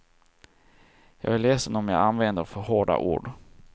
Jag är ledsen om jag använder för hårda ord.